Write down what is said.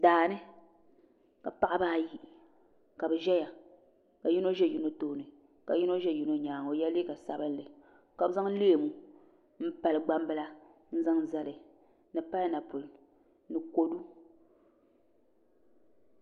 Daani ka paɣaba ayi ka bi ʒɛya ka yino ʒɛ yino tooni ka yino ʒɛ yino nyaanga o yɛla liiga sabinli ka bi zaŋ leemu n pali gbambila n zaŋ zali ni painapuli ni kodu